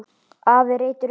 Afi reytir upp.